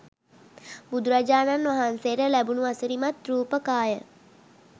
බුදුරජාණන් වහන්සේට ලැබුණු අසිරිමත් රූප කාය,